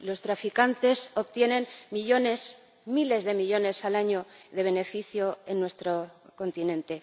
Los traficantes obtienen millones, miles de millones al año de beneficio en nuestro continente.